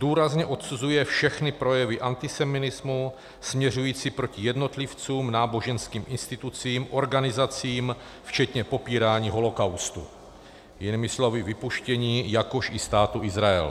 Důrazně odsuzuje všechny projevy antisemitismu směřující proti jednotlivcům, náboženským institucím, organizacím včetně popírání holocaustu - jinými slovy vypuštění - jakož i Státu Izrael.